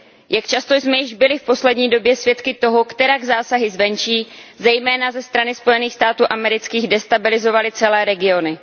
Jak často jsme již byli v poslední době svědky toho, kterak zásahy zvenčí, zejména ze strany Spojených států amerických, destabilizovaly celé regiony?